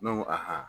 Ne ko a